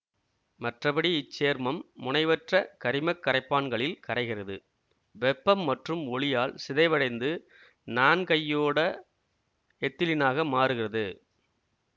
மற்றபடி இச்சேர்மம் முனைவற்ற கரிமக் கரைப்பான்களில் கரைகிறது வெப்பம் மற்றும் ஒளியால் சிதைவடைந்து நான்கையோட எத்திலீனாக மாறுகிறது